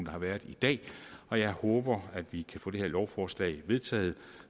har været i dag og jeg håber at vi kan få det her lovforslag vedtaget